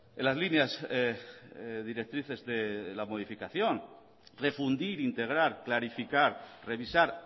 en las líneas directrices de la modificación refundir integrar clarificar revisar